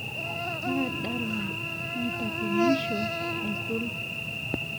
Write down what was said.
kaa dala naitakwenisho aisul